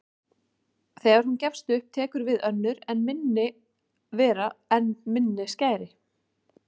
Þegar hún gefst upp tekur við önnur enn minni vera með enn minni skæri.